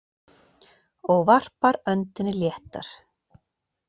Og varpar öndinni léttar.